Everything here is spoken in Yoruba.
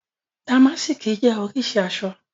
Oríṣi àṣọ ni dàmásìkì.